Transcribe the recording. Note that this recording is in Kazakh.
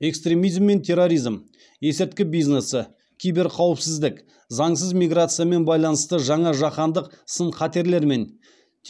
экстремизм мен терроризм есірткі бизнесі кибер қауіпсіздік заңсыз миграциямен байланысты жаңа жаһандық сын қатерлер мен